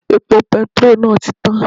Epo petiró náà ti tán